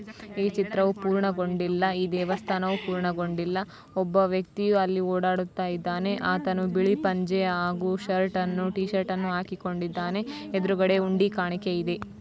ಈ ಚಿತ್ರವೂ ಪೂರ್ಣಗೊಂದಿಲ್ಲ ಈ ದೇವಸ್ತಾನವೂ ಪೂರ್ಣಗೊಂದಿಲ್ಲ ಒಬ್ಬ ವ್ಯಕ್ತಿಯು ಅಲ್ಲಿ ಓಡಾಡುಯಿದ್ದನೆ ಆತನು ಬಿಳಿ ಪಂಚೆ ಹಾಗೂ ಷರ್ಟ್ಅನ್ನು ಟಿಷರ್ಟ್ಅನ್ನು ಹಕಿಕೊಂಡಿದ್ದಾನೆ ಎದುರುಗಡೆ ಉಂಡಿ ಕಾಣಿಕೆ ಇವೆ.